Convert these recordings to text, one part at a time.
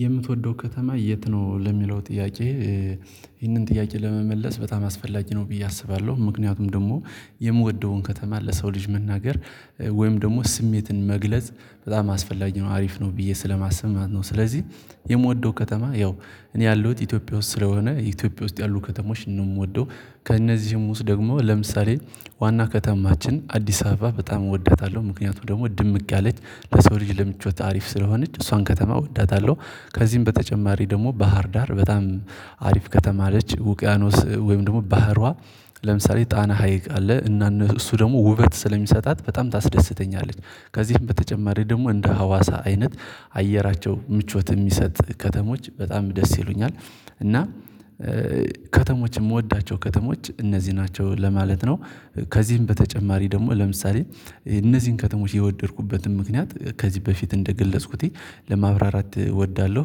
የምትወደው ከተማ የት ነው? ለሚለው ጥያቄ ይህንን ጥያቄ ለመመለስ በጣም አስፈላጊ ነው ብዬ አስባለሁ። ምክንያቱም ደግሞ የምወደውን ከተማ ለሰው ልጅ መናገር ወይም ደግሞ ስሜትን መግለጽ በጣም አስፈላጊ ነው፤ አሪፍ ነው ብዬ ስለማሰብ ማለት ነው። ስለዚህ የምወደው ከተማ ያው እኔ ያሉት ኢትዮጵያ ውስጥ ስለሆነ ኢትዮጵያ ውስጥ ያሉ ከተሞች ነው የምወደው። ከእነዚህም ውስጥ ደግሞ ለምሳሌ ዋና ከተማችን አዲስ አበባ በጣም እወዳታለሁ። ምክንያቱም ደግሞ ድምቅ ያለች ለሰው ልጅ ለምቾት አሪፍ ስለሆነች እሷን ከተማ እወዳታለሁ። ከዚህም በተጨማሪ ደግሞ ባህር ዳር በጣም አሪፍ ከተማ ነች። ውቅያኖስ ወይም ደግሞ ባህሯ ለምሳሌ ጣና ሀይቅ አለ እና እነ እሱ ደግሞ ውበት ስለሚሰጣት በጣም ታስደስተኛለች። ከዚህም በተጨማሪ ደግሞ እንደ ሀዋሳ አይነት አየራቸው ምቾት የሚሰጥ ከተሞች በጣም ደስ ይሉኛል። እና ከተሞች የምወዳቸው ከተሞች እነዚህ ናቸው ለማለት ነው። ከዚህም በተጨማሪ ደግሞ ለምሳሌ እነዚህን ከተሞች የወደድኩበትን ምክንያት ከዚህ በፊት እንደገለጽኩት ለማብራራት እወዳለሁ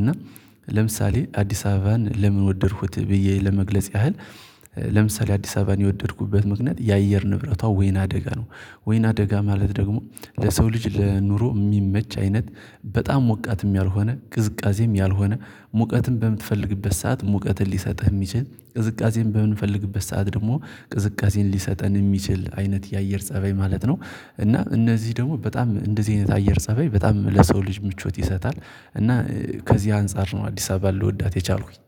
እና ለምሳሌ አዲስ አበባን ለምን ወደድኩት ብዬ ለመግለጽ ያህል ለምሳሌ አዲስ አበባን የወደድኩበት ምክንያት የአየር ንብረቷ ወይን አደጋ ነው ወይን አደጋ ማለት ደግሞ ለሰው ልጅ ለኑሮ የሚመች አይነት በጣም ሞቃትም ያልሆነ ቅዝቃዜም ያልሆነ ሙቀትን በምትፈልግበት ሰዓት ሙቀትን ሊሰጥህ የሚችል ቅዝቃዜን በምንፈልግበት ሰዓት ደግሞ ቅዝቃዜን ሊሰጠን የሚችል አይነት የአየር ፀበይ ማለት ነው። እና እነዚህ ደግሞ በጣም እንደዚህ አይነት አየር ፀበይ በጣም ለሰው ልጅ ምቾት ይሰጣል። እና ከዚህ አንፃር ነው አዲስ አበባ ልወዳት የቻልኩኝ።